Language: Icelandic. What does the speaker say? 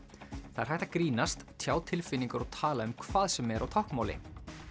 það er hægt að grínast tjá tilfinningar og tala um hvað sem er á táknmáli